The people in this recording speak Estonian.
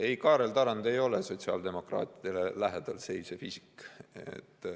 Ei, Kaarel Tarand ei ole sotsiaaldemokraatidele lähedal seisev isik.